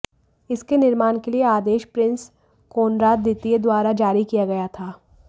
इसके निर्माण के लिए आदेश प्रिंस कोनराड द्वितीय द्वारा जारी किया गया था